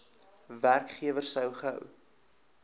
werkgewer so gou